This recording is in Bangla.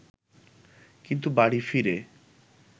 কিন্তু বাড়ি ফিরে